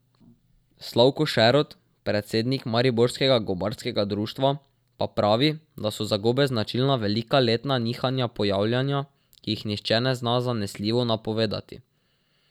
Slavko Šerod, predsednik mariborskega gobarskega društva, pa pravi, da so za gobe značilna velika letna nihanja pojavljanja, ki jih nihče ne zna zanesljivo napovedovati.